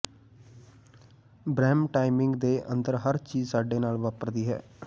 ਬ੍ਰਹਮ ਟਾਇਮਿੰਗ ਦੇ ਅੰਦਰ ਹਰ ਚੀਜ ਸਾਡੇ ਨਾਲ ਵਾਪਰਦੀ ਹੈ